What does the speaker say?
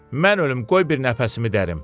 Mən ölüm, qoy bir nəfəsimi dərim.